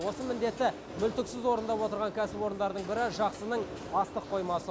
осы міндетті мүлтіксіз орындап отырған кәсіпорындардың бірі жақсының астық қоймасы